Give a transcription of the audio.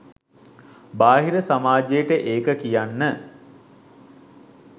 බාහිර සමාජයට ඒක කියන්න